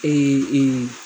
Ee